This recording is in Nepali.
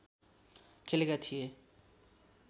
खेलेका थिए